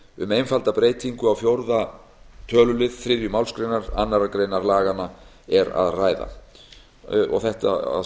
um einfalda breytingu á fjórða tölulið þriðju málsgrein annarrar greinar laganna er að ræða og þetta að